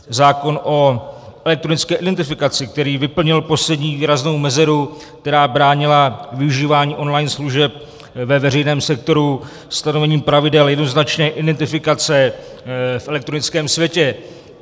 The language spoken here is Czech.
Zákon o elektronické identifikaci, který vyplnil poslední výraznou mezeru, která bránila využívání online služeb ve veřejném sektoru stanovením pravidel jednoznačné identifikace v elektronickém světě.